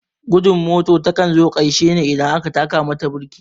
Gudun mota takan zo karshe ne idan aka taka mata birki